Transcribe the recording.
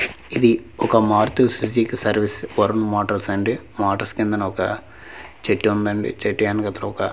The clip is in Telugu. ఇది ఒక Maruti Suzuki service Varun Motors అండి మోటార్స్ కిందన ఒక చెట్టు ఉందండి చెట్టు వెనకతలనొక్క.